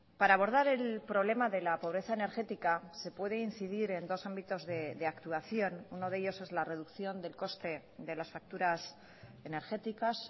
para abordar el problema de la pobreza energética se puede incidir en dos ámbitos de actuación uno de ellos es la reducción del coste de las facturas energéticas